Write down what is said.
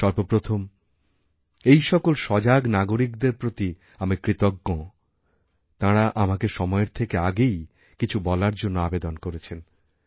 সর্ব প্রথম এই সকল সজাগ নাগরিকদেরপ্রতি আমি কৃতজ্ঞ তাঁরা আমাকে সময়ের থেকে আগেই কিছু বলার জন্য আবেদন করেছেন